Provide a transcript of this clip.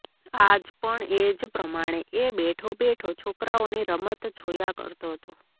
આજ પણ એ જ પ્રમાણે એ બેઠો બેઠો છોકરાંઓની રમત જોયા કરતો હતો